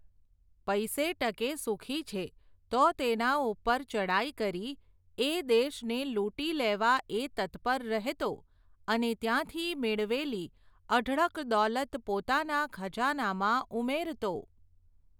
પૈસે ટકે સુખી છે, તો તેના ઉપર ચડાઈ કરી, એ દેશને લૂંટી લેવા એ તત્પર રહેતો, અને ત્યાંથી મેળવેલી અઢળક દોલત પોતાના ખજાનામાં ઉમેરતો.